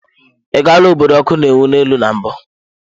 Ị gaala obodo ọkụ na-enwu n'elu na mbụ?